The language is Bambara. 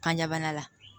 Kanjabana la